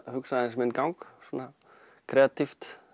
hugsaði aðeins minn gang svona